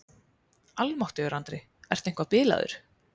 Almáttugur Andri, ertu eitthvað bilaður?